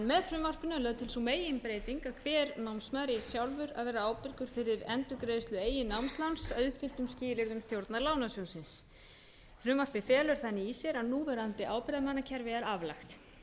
frumvarpinu er lögð til sú meginbreyting að hver námsmaður eigi sjálfur að vera ábyrgur fyrir endurgreiðslu eigin námsláns að uppfylltum skilyrðum stjórnar lánasjóðsins frumvarpið felur þannig í sér að núverandi ábyrgðarmannakerfi er aflagt